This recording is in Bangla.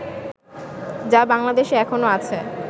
যা বাংলাদেশে এখনো আছে